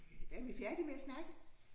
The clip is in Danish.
Er vi færdige med at snakke?